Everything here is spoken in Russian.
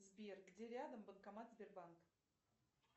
сбер где рядом банкомат сбербанк